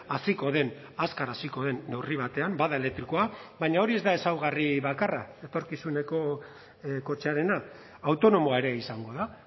haziko den azkar hasiko den neurri batean bada elektrikoa baina hori ez da ezaugarri bakarra etorkizuneko kotxearena autonomoa ere izango da